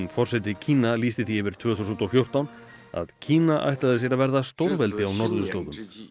forseti Kína lýsti því yfir tvö þúsund og fjórtán að Kína ætlaði sér að verða stórveldi á norðurslóðum